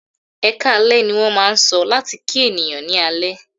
"Ẹkáalẹ́" ní wọ́n máà ń sọ láti kí ènìyàn ní alẹ́.